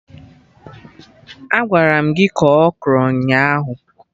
Agwara m gị kọọ Okro ụnyaahụ